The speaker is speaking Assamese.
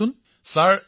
প্ৰধানমন্ত্ৰীঃ কওক